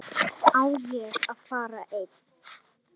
Á ég að fara einn?